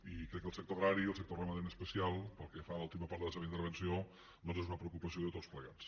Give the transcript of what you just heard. i crec que el sector agrari i el sector ramader en especial pel que fa a l’última part de la seva intervenció doncs són una preocupació de tots plegats